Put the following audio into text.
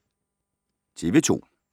TV 2